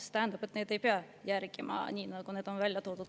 See tähendab, et neid ei pea järgima selliselt, nagu nad on välja toodud.